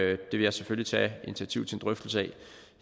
vil jeg selvfølgelig tage initiativ til en drøftelse af